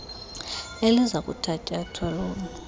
eliza kuthatyathwa lolu